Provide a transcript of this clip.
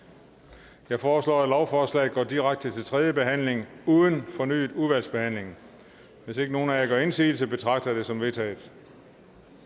jeg foreslår at lovforslaget går direkte til tredje behandling uden fornyet udvalgsbehandling hvis ikke nogen af jer gør indsigelse betragter jeg det som vedtaget